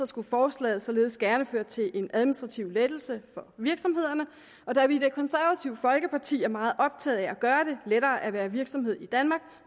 skulle forslaget således gerne føre til en administrativ lettelse for virksomhederne og da vi i det konservative folkeparti er meget optaget af at gøre det lettere at være virksomhed i danmark